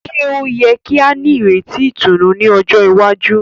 Ṣe o yẹ ki a nireti ìtùnú ní ọjọ iwaju?